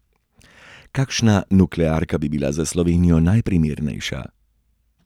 Kakšna nuklearka bi bila za Slovenijo najprimernejša?